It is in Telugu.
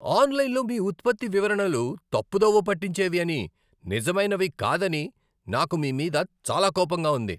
ఆన్లైన్లో మీ ఉత్పత్తి వివరణలు తప్పుదోవ పట్టించేవి అని, నిజమైనవి కాదని నాకు మీ మీద చాలా కోపంగా ఉంది.